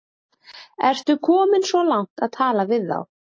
Ertu kominn svo langt að tala við þá?